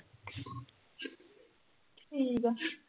ਠੀਕ ਆ।